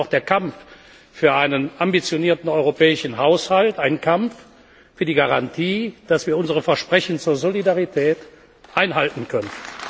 Deshalb ist der Kampf für einen ambitionierten europäischen Haushalt auch ein Kampf für die Garantie, dass wir unsere Versprechen der Solidarität einhalten können.